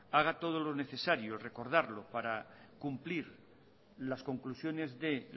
haga todo lo necesario y recordarlo para cumplir las conclusiones de